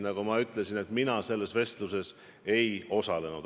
Nagu ma ütlesin, mina selles vestluses ei osalenud.